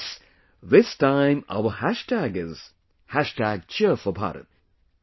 And yes, this time our hashtag is #Cheer4Bharat